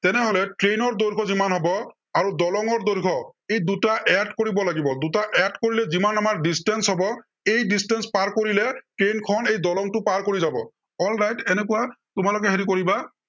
তেনেহলে train ৰ দৈৰ্ঘ্য় যিমান হব, আৰু দলঙৰ দৈৰ্ঘ্য় ই দুটা add কৰিব লাগিব। দুটা add কৰিলে যিমান আমাৰ distance হব, এই distance পাৰ কৰিলে train খন এই দলংটো পাৰ কৰি যাব। alright এনেকুৱা তোমালোকে হেৰি কৰিবা।